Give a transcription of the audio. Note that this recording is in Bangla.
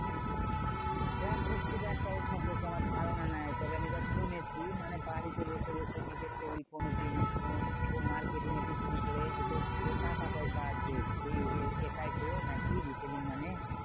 দেখো খুব একটা ওর সম্পর্কে আমার ধারণা নেই। তবে আমি যা শুনেছি, মানে বাড়িতে বসে বসে নিজের তৈরী কোনো জিনিস কোনো marketing এ বিক্রি করে হয়তো টাকা পয়সা আছে। এ এর এটাই তো নাকি retailing মানে?